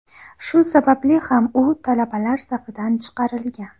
Shu sababli ham u talabalar safidan chiqarilgan.